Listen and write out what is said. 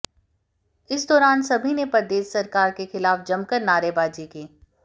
इस दौरान सभी ने प्रदेश सरकार के खिलाफ जमकर नारेबाजी की